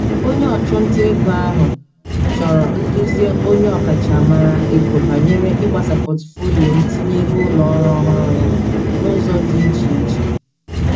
Onye ọchụnta ego ahụ chọọrọ nduzi onye ọkachamara ego banyere ịgbasa pọtụfoliyo ntinye ego ụlọ ọrụ ọhụrụ ya n'ụzọ dị iche iche.